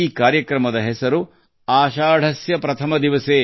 ಈ ಕಾರ್ಯಕ್ರಮದ ಹೆಸರು ಆಷಾಢಸ್ಯ ಪ್ರಥಮ ದಿನ